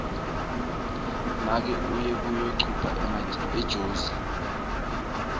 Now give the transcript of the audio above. make uye kuyocupha ejozi